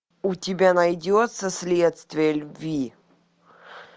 у тебя найдется следствие любви